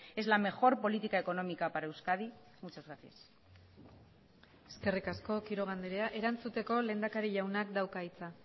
es la mejor política económica para euskadi muchas gracias eskerrik asko quiroga andrea erantzuteko lehendakari jaunak dauka hitza